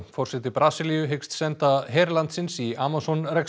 forseti Brasilíu hyggst senda her landsins í Amazon